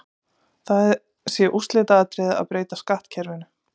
Það sé úrslitaatriði að breyta skattkerfinu.